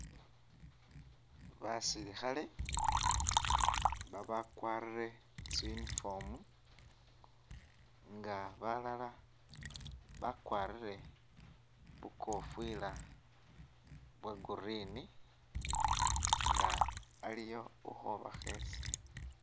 Basilikhale baba'kwarire tsi uniform nga balala bakwarire bukofwila bwo green nga aliyo ukho bakhesa